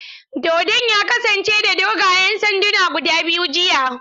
Dodon ya kasance da dogayen sanduna guda biyu jiya.